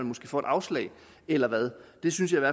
måske får afslag eller hvad det synes jeg